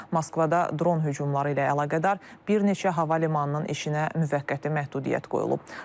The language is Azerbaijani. Moskvada dron hücumları ilə əlaqədar bir neçə hava limanının işinə müvəqqəti məhdudiyyət qoyulub.